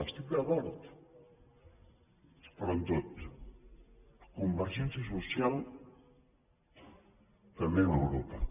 hi estic d’acord però en tot convergència social també amb europa